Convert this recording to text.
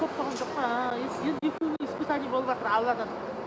көп болған жоқ па ааа енді екеуіңе испытание болыватыр алладан